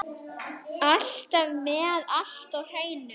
Alltaf með allt á hreinu.